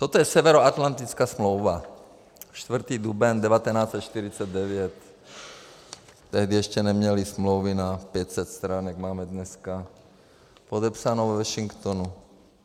Toto je Severoatlantická smlouva , 4. duben 1949, tehdy ještě neměly smlouvy na 500 stran, jak máme dneska, podepsaná ve Washingtonu.